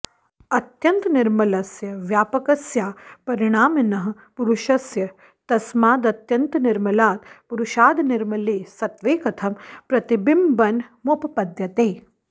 अत्यन्तनिर्मलस्य व्यापकस्यापरिणामिनः पुरुषस्य तस्मादत्यन्तनिर्मलात् पुरुषादनिर्मले सत्त्वे कथं प्रतिबिम्बनमुपपद्यते